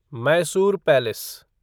Mysore palace